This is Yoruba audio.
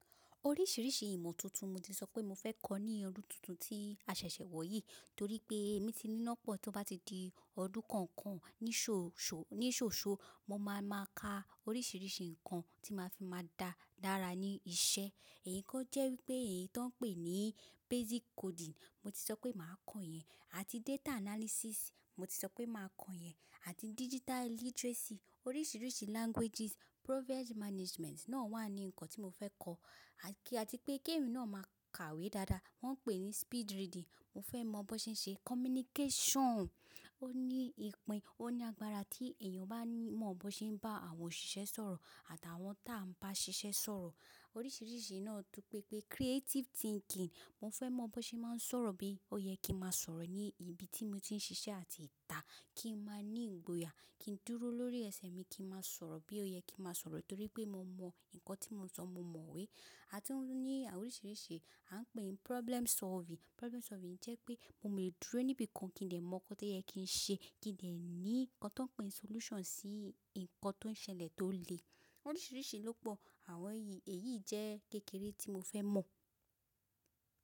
Oríṣìíríṣìí ìmọ̀ tuntun mo ti sọ pé mo fẹ́ kọ́ ní ọdún tuntun tí a ṣẹ̀ṣẹ̀ wọ̀ yìí, torí pé emi ti ní ná pọ̀ tí ó bá ti di ọdún kan kan ní ṣòṣò, ní ṣòṣò mo máa ma ka oríṣìíríṣìí nǹkan tí màá fi máa dá dára ní iṣẹ́. Ẹ̀yíkọ́ jẹ́ wípé èyí tó ń pè ní basic coding, mo ti sọ pé màá kọ yẹn. Àti data analysis mo ti sọ pé màá kọ yẹn. Àti digital literacy, oríṣìíríṣìí languages, project management náà wà ní nǹkan tí mo fẹ́ kọ́. Àti pé kí èmi náà máa kàwé dáadáa, wọ́n pè é ní speed reading, mo fẹ́ mọ̀ bó ṣe ń ṣe. Communication, ó ní ipin, ó ní agbára tí èèyàn bá ní mọ̀ bó ṣe ń bá àwọn òṣìṣẹ́ sọ̀rọ̀ àti àwọn tá ń bá ṣiṣẹ́ sọ̀rọ̀. Oríṣìíríṣìí náà tún pẹ́ pé creative thinking, mo fẹ́ mọ̀ bó ṣe máa ń sọ̀rọ̀ bí ó yẹ kí n máa sọ̀rọ̀ ní ibi tí mo ti ń ṣiṣẹ́ àti ìta kí n máa ní ìgboyà, kí n dúró lórí ẹsẹ̀ mi kí n máa sọ̀rọ̀ bí ó yẹ kí n máa sọ̀rọ̀ torí pé mo mọ nǹkan tí mo ń sọ, mo mọ̀ ọ́ wé. Atún ní oríṣìíríṣìí, a ń pè é ní problem solving. Problem solving jẹ́ pé mo lè dúró níbi kan kí n lè mọ̀ nǹkan tó yẹ kí n ṣe, kí n lè ní nǹkan tó ń pè ní solution sí nǹkan tó ń ṣẹlẹ̀ tó le. Oríṣìíríṣìí ló pọ̀ àwọn èyí, èyí jẹ́ kékeré tí mo fẹ́ mọ̀.